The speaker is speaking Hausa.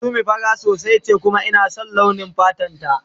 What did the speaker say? Summi fara sosai ce kuma ina son launi fatan ta.